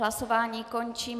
Hlasování končím.